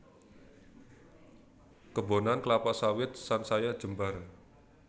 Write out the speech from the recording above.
Kebonan klapa sawit sansaya jembar